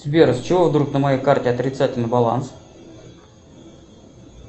сбер с чего вдруг на моей карте отрицательный баланс